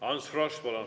Ants Frosch, palun!